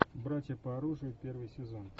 братья по оружию первый сезон